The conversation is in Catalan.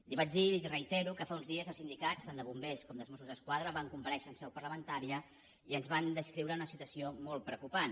li vaig dir i li reitero que fa uns dies els sindicats tant de bombers com dels mossos d’esquadra van comparèixer en seu parlamentària i ens van descriure una situació molt preocupant